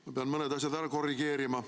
Ma pean mõne asja ära korrigeerima.